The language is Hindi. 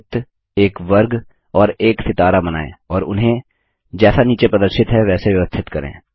एक वृत्त एक वर्ग और एक सितारा बनाएँ और उन्हें जैसा नीचे प्रदर्शित है वैसे व्यवस्थित करें